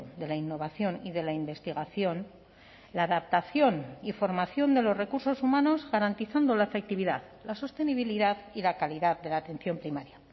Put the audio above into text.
de la innovación y de la investigación la adaptación y formación de los recursos humanos garantizando la efectividad la sostenibilidad y la calidad de la atención primaria